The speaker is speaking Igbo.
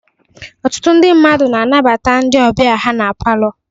Ọtụtụ ndị mmadụ na-anabata ndị ọbịa ha na Palọ